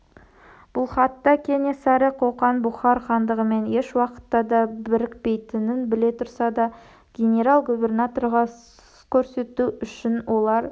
бұл хатта кенесары қоқан бұхар хандығымен еш уақытта да бірікпейтінін біле тұрса да генерал-губернаторға сұс көрсету үшін олар